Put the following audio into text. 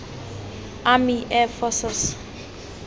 army air forces